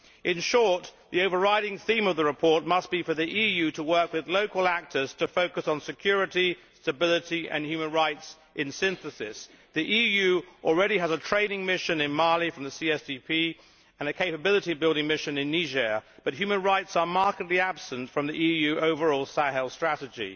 In short, the overriding theme of the report must be for the EU to work with local actors to focus on security, stability and human rights in synthesis. The EU already has a trading mission in Mali from the CSDP and a capability building mission in Niger, but human rights are markedly absent from the EU overall Sahel strategy.